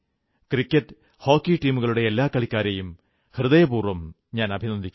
cricket hockey ടീമുകളുടെ എല്ലാ കളിക്കാരെയും ഹൃദയപൂർവ്വം അഭിനന്ദിക്കുന്നു